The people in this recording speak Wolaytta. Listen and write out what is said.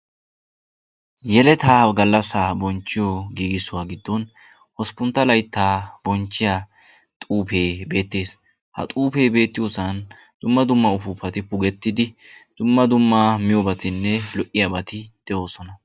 yeletaa galaassaa bonchiyoo giigisiyoo giidon hosppuntta laytta bonchiyaa xuufee beettees. ha xuufee beetiyoosan dumma dumma upupati puugetidi dumma dumma miyoobatinne lo''iyaabati de'oosona.